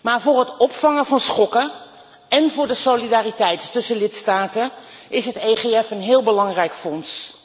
Maar voor het opvangen van schokken en voor de solidariteit tussen lidstaten is het EFG een heel belangrijk fonds.